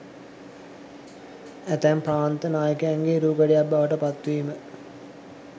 ඇතැම් ප්‍රාන්ත නායකයන්ගේ රූකඩයක් බවට පත් වීම